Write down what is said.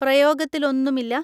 പ്രയോഗത്തിൽ ഒന്നും ഇല്ല.